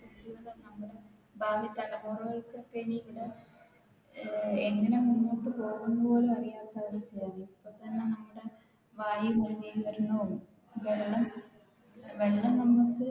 ഭാവി തലമുറകൾക്ക് ഒക്കെ ഇനി ഇപ്പൊ എങ്ങനെ മുന്നോട്ട് പോകും എന്ന് പോലും അറിയാത്ത